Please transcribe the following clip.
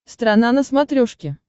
страна на смотрешке